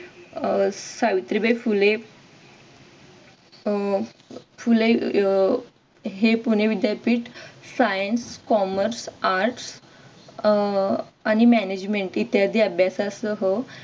अह सावित्रीबाई फुले अह फुले अह हे पुणे विद्यापीठ science commerce arts अह आणि management इत्यादी अभ्यासा सह